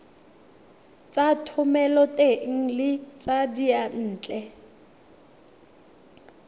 tsa thomeloteng le tsa diyantle